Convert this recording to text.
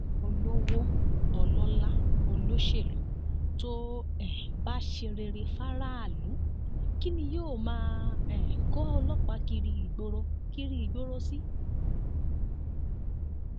olówó ọlọlá olóṣèlú tó um bá ṣe rere fáráàlú kín ni yóò máa um kó ọlọpàá kiri ìgboro kiri ìgboro sí